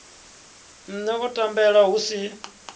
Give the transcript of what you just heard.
nṋne o tambela hu si